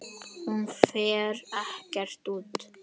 Hún fer ekkert út!